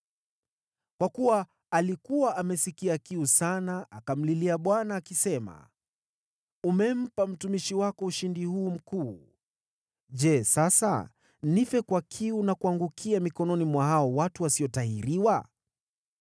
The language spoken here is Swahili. Kwa kuwa alikuwa amesikia kiu sana, akamlilia Bwana akisema, “Umempa mtumishi wako ushindi huu mkuu. Je, sasa nife kwa kiu na kuangukia mikononi mwa hawa watu wasiotahiriwa?”